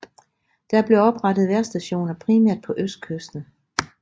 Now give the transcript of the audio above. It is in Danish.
Der blev oprettet vejrstationer primært på østkysten